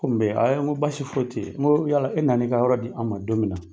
Ko mun bɛ ye n ko baasi foyi tɛ ye n ko yala e na na i ka yɔrɔ di an ma don min na